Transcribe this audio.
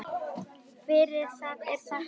Fyrir það er þakkað.